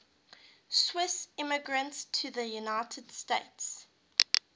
swiss immigrants to the united states